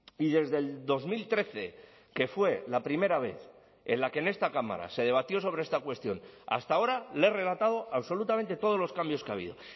y desde el dos mil trece que fue la primera vez en la que en esta cámara se debatió sobre esta cuestión hasta ahora le he relatado absolutamente todos los cambios que ha habido